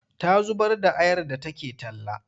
Ta zubar da ayar da take talla.